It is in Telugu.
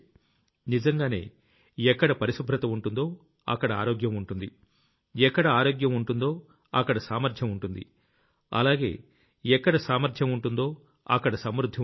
నిజంగానే ఎక్కడ పరిశుభ్రత ఉంటుందో అక్కడ ఆరోగ్యం ఉంటుంది ఎక్కడ ఆరోగ్యం ఉంటుందో అక్కడ సామర్ధ్యం ఉంటుంది అలాగే ఎక్కడ సామర్ధ్యం ఉంటుందో అక్కడ సమృద్ధి ఉంటుంది